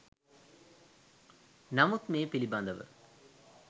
නමුත් මේ පිළිබඳව